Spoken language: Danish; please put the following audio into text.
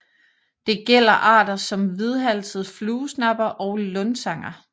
Det gælder arter som hvidhalset fluesnapper og lundsanger